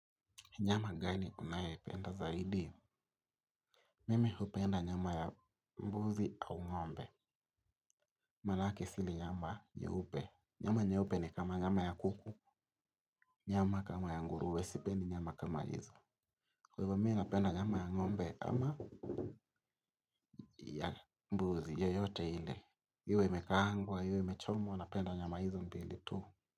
Nyama gani unaye penda zaidi? Mimi hupenda nyama ya mbuzi au ngombe. Manake sili nyama nyeupe. Nyama nyeupe ni kama nyama ya kuku, nyama kama ya ngurue, sipendi nyama kama hizo. Kwa hivyo mi napenda nyama ya ngombe ama ya mbuzi yoyote ile. Iwe imekaangwa, iwe imechomwa, napenda nyama hizo mbili tu.